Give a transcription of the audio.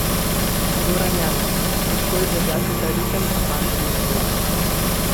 Goran Janus: 'Težko je držati ta ritem, a fantom uspeva.